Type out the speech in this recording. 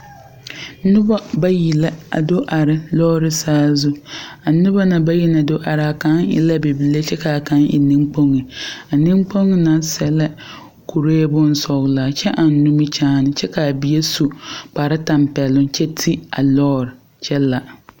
Nobɔ bayi la a do are lɔɔre saazu a noba na bayi na do are kaŋ e la bibile kyɛ kaa kaŋ neŋkpoŋ a neŋkpoŋ na sɛ la kuree bonsɔglaa kyɛ ɛŋ nimikyaane kyɛ kaa bie su kpare tampeɛloŋ kyɛ te a lɔɔre kyɛ la.